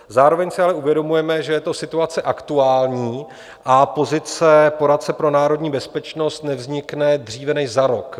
Zároveň si ale uvědomujeme, že je to situace aktuální a pozice poradce pro národní bezpečnost nevznikne dříve než za rok.